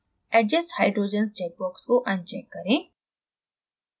adjust hydrogens check box को uncheck करें